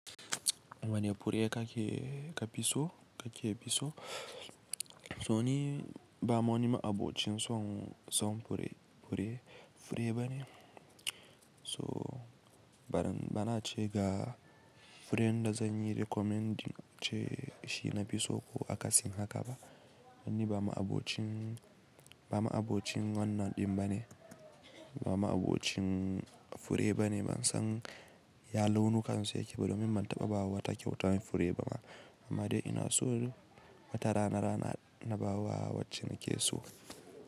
Wane fure kake ka pisso, ka ke pisso? So ni ba woni ma abocin son, son fure, fure bane. So bana, bana ce ga furen da zanyi recommending ce shi na fisso ko akasin haka ba. Ni ba ma abocin, ba ma abocin wanna din bane. Ba ma abocin fure bane. Ban san ya launuka su yake ba domin ban taɓa ba wa wata kyautar fure ba. Amma dai ina so na watara na rana na ba wa wacce nake so.